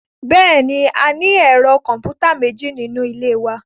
Bẹ́ẹ̀ni, a ní ẹ̀rọ kọ̀m̀pútà méjì nínú ilé wa